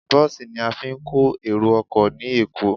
Bọ́ọ̀sì ni a fi ń kó èrò ọkọ ní Èkó.